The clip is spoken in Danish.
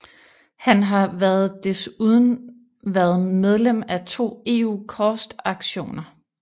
Han har været desuden været medlem af to EU COST aktioner